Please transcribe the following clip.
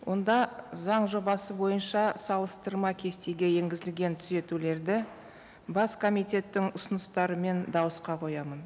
онда заң жобасы бойынша салыстырма кестеге енгізілген түзетулерді бас комитеттің ұсыныстарымен дауысқа қоямын